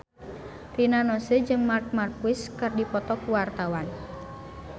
Rina Nose jeung Marc Marquez keur dipoto ku wartawan